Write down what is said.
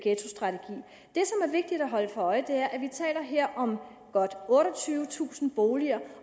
holde sig for øje er at vi her om godt otteogtyvetusind boliger